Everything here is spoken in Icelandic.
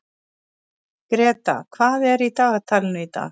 Greta, hvað er í dagatalinu í dag?